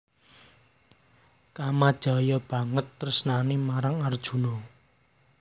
Kamajaya banget tresnané marang Arjuna